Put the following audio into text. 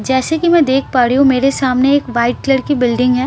जैसे की मैं देख पा रही हूँ मेरे सामने एक वाइट कलर की बिल्डिंग है --